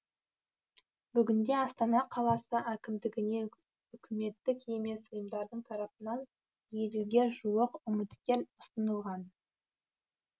бүгінде астана қаласы әкімдігіне үкіметтік емес ұйымдардың тарапынан елуге жуық үміткер ұсынылған